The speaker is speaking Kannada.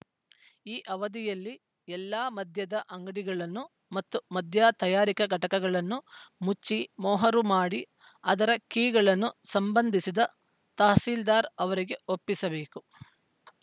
ಈ ಅವಧಿಯಲ್ಲಿ ಎಲ್ಲ ಮದ್ಯದ ಅಂಗಡಿಗಳನ್ನು ಮತ್ತು ಮದ್ಯ ತಯಾರಿಕಾ ಘಟಕಗಳನ್ನು ಮುಚ್ಚಿ ಮೊಹರು ಮಾಡಿ ಅದರ ಕೀಗಳನ್ನು ಸಂಬಂಧಿಸಿದ ತಹಸೀಲ್ದಾರ್‌ ಅವರಿಗೆ ಒಪ್ಪಿಸಬೇಕು